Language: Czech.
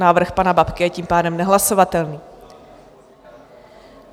Návrh pana Babky je tím pádem nehlasovatelný.